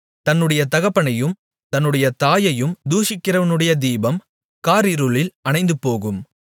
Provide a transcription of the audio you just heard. தன்னுடைய தகப்பனையும் தன்னுடைய தாயையும் தூஷிக்கிறவனுடைய தீபம் காரிருளில் அணைந்துபோகும்